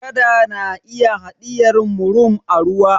kada na iya hadiyarvmurum a ruwa